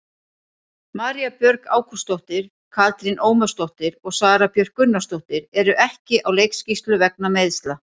María Björg Ágústsdóttir, Katrín Ómarsdóttir og Sara Björk Gunnarsdóttir eru ekki á leikskýrslu vegna meiðsla.